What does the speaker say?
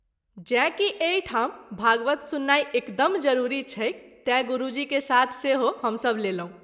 जैँ कि एहि ठीम भागवत सुननाई एकदम जरूरी छैक तैँ गुरूजी के साथ सेहो हम सभ लेलहुँ।